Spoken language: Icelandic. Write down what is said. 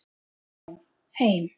Já, heim.